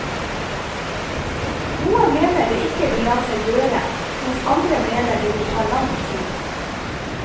Noen mener det ikke vil la seg gjøre, mens andre mener det vil ta lang tid.